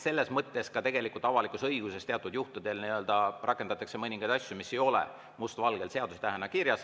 Selles mõttes ka avalikus õiguses teatud juhtudel rakendatakse mõningaid asju, mis ei ole must valgel seadusetähena kirjas.